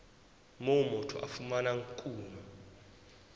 moo motho a fumanang kuno